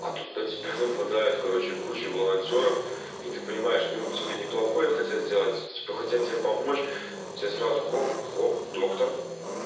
а тут на тебя падает короче куча волонтёров и ты понимаешь что ну тебе неплохое хотят сделать типа хотя тебе помочь тебе сразу хлоп-хлоп доктор